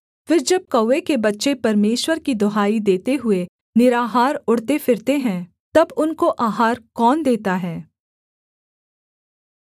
फिर जब कौवे के बच्चे परमेश्वर की दुहाई देते हुए निराहार उड़ते फिरते हैं तब उनको आहार कौन देता है